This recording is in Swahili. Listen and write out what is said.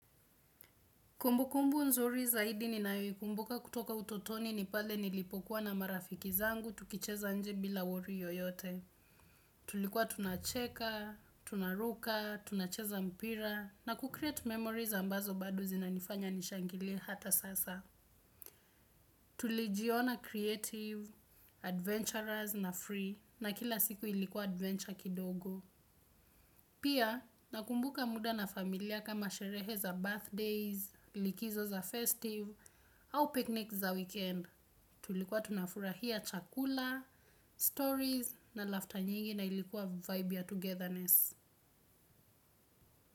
Kumbukumbu nzuri zaidi ninayoikumbuka kutoka utotoni ni pale nilipokuwa na marafiki zangu tukicheza nje bila worry yoyote. Tulikuwa tunacheka, tunaruka, tunacheza mpira na kucreate memories ambazo bado zinanifanya nishangilie hata sasa. Tulijiona creative, adventurers na free na kila siku ilikuwa adventure kidogo. Pia nakumbuka muda na familia kama sherehe za birthdays, likizo za festive, au picnic za weekend. Tulikuwa tunafurahia chakula, stories na laughter nyingi na ilikuwa vibe ya togetherness.